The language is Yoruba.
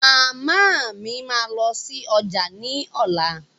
Màmá mi máa lọ sí ọjà ní ọ̀la.